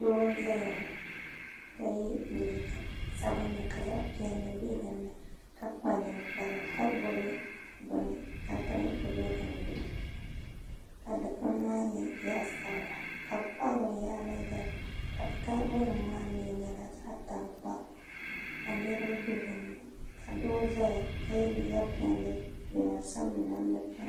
doo n zaya ka ye liiga sabinli ka zaɣ'piɛlli be din ni ka kpa ninkpara ka gbubi beni ka dirigi be di-ni ka di gbuni maa nyɛ zaɣ'-sabila ka be kpahi binyahiri zali ka taabonima maa nyɛla zaɣ'tankpaɣu ka niriba be dini ka doo zaya ka ye liiga piɛlli jinjam sabinli ni namda piɛlli